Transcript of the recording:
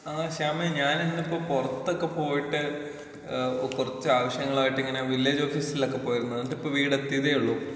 ആ ശ്യാമേ ഞാനിന്നിപ്പൊ പുറത്തൊക്കെ പോയിട്ട് ഏ കുറച്ച് ആവശ്യങ്ങളായിട്ടിങ്ങനെ വില്ലേജ് ഓഫീസിലൊക്കെ പോയിരുന്നു ഇന്നിട്ടിപ്പോ വീട് എത്തിയതേയുള്ളൂ.